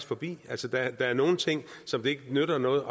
forbi altså der er nogle ting som det ikke nytter noget